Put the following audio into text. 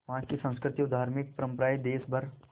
वहाँ की संस्कृति और धार्मिक परम्पराएं देश भर